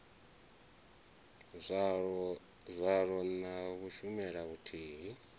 zwaḽo na u shumela vhuthihi